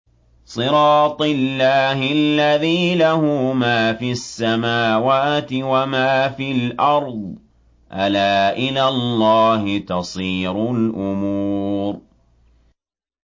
صِرَاطِ اللَّهِ الَّذِي لَهُ مَا فِي السَّمَاوَاتِ وَمَا فِي الْأَرْضِ ۗ أَلَا إِلَى اللَّهِ تَصِيرُ الْأُمُورُ